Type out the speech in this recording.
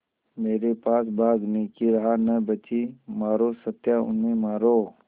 मेरे पास भागने की राह न बची मारो सत्या उन्हें मारो